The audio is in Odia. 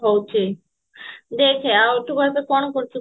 ହଉଛି ଦେଖେ ଆଉ ତୁ ଏବେ କଣ କରୁଛୁ